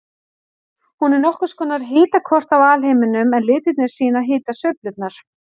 Hún er nokkurs konar hitakort af alheiminum en litirnir sýna hitasveiflurnar.